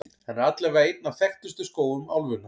Hann er allavega einn af þekktustu skógum álfunnar.